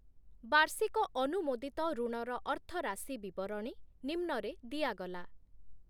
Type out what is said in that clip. ବାର୍ଷିକ ଅନୁମୋଦିତ ଋଣର ଅର୍ଥରାଶି ବିବରଣୀ ନିମ୍ନରେ ଦିଆଗଲା ।